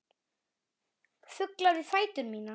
Fuglar við fætur mína.